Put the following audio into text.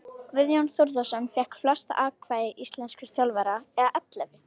Guðjón Þórðarson fékk flest atkvæði íslenskra þjálfara eða ellefu.